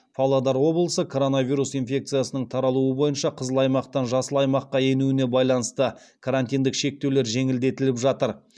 павлодар облысы коронавирус инфекциясының таралуы бойынша қызыл аймақтан жасыл аймаққа енуіне байланысты карантиндік шектеулер жеңілдетіліп жатыр